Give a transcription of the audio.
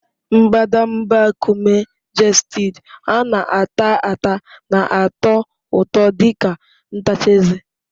Mbadamba nkume Gestid a na-ata ata na-atọ ụtọ dị ka ntacha eze.